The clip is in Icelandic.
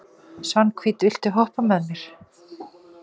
Svanhvít, viltu hoppa með mér?